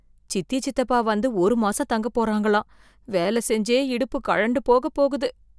சித்தி சித்தப்பா வந்து ஒரு மாசம் தங்க போறாங்களாம், வேலை செஞ்சே இடுப்பு கழண்டு போக போகுது.